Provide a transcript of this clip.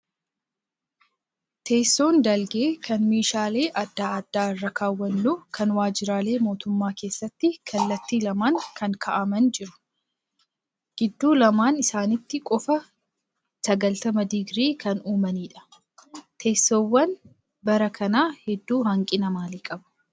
Teessoon dalgee kan meeshaalee adda addaa irra kaawwannu kan waajjiraalee mootummaa keessaa kallattii lamaan kan kaa'aman jiru. Gidduu lamaan isaaniitti kofa 90 digirii kan uumanidha. Teessoowwan bara kanaa hedduun hanqina maalii qabuu?